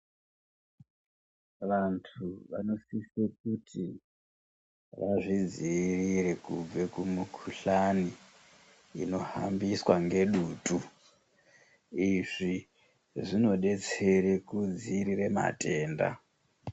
Vantu vanosise kuti vazvidziirire kubve kumikhuhlani inohambiswa ngedutu, izvi zvinodetsera kudziirire matenda.